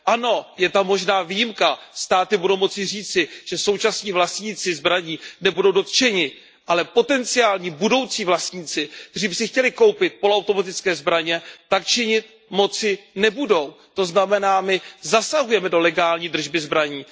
Ano, je tam možná výjimka, státy budou moci říci, že současní vlastníci zbraní nebudou dotčeni, ale potenciální budoucí vlastníci, kteří by si chtěli koupit poloautomatické zbraně, tak nebudou moci činit. To znamená, my zasahujeme do legální držby zbraní.